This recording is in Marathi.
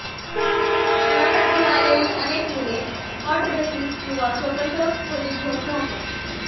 शिक्षणासाठी आलेली अनेक मुले कॉट बेसीस किंवा स्वतंत्र खोली घेऊन राहतात